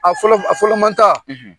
A fɔlɔ a fɔlɔ manta